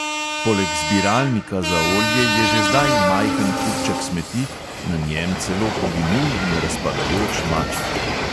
Poleg zbiralnika za olje je že zdaj majhen kupček smeti, na njem celo poginul in razpadajoč maček.